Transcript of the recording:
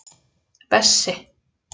Bessi